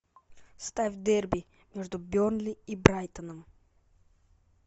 ставь дерби между бернли и брайтоном